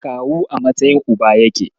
Kawu a matsayin Uba yake.